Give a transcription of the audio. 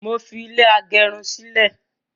mọ tí fi ilé agerun sí lẹ.